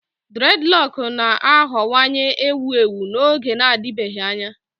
Dreadlock na-aghọwanye ewu ewu n'oge na-adịbeghị anya.